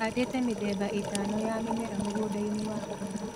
Handĩte mĩthemba ĩtano ya mĩmera mũgũnda-inĩ wakwa